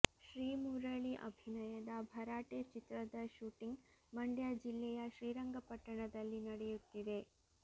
ಶ್ರೀಮುರಳಿ ಅಭಿನಯದ ಭರಾಟೆ ಚಿತ್ರದ ಶೂಟಿಂಗ್ ಮಂಡ್ಯ ಜಿಲ್ಲೆಯ ಶ್ರೀರಂಗಪಟ್ಟಣದಲ್ಲಿ ನಡೆಯುತ್ತಿದೆ